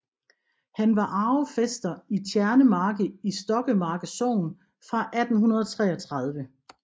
Han var arvefæster i Tjernemarke i Stokkemarke Sogn fra 1833